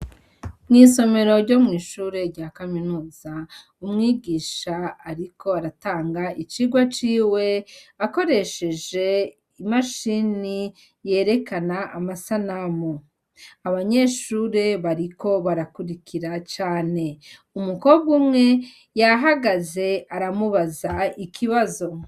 Mw' isomero ryo mw' ishure rya kaminuza, umwigish' arik' aratanga icigwa ciw' akoresheje mudasobwa yerekan' amasanamu , abanyeshure bariko barakurikira cane , umukobw' umwe yahagaz' aramubaz' ikibizo.